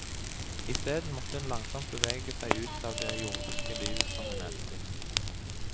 Isteden måtte hun langsomt bevege seg ut av det jordiske livet som hun elsket.